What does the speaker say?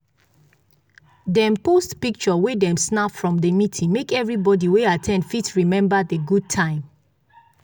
dem post pictures wey dem snap from the meeting make everybody wey at ten d fit remember the good time.